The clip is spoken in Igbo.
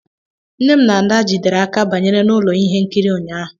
Nne m na ada jidere aka banye na ụlọ ihe nkiri ụnyaahụ